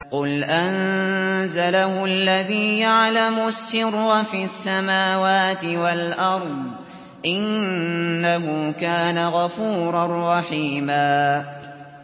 قُلْ أَنزَلَهُ الَّذِي يَعْلَمُ السِّرَّ فِي السَّمَاوَاتِ وَالْأَرْضِ ۚ إِنَّهُ كَانَ غَفُورًا رَّحِيمًا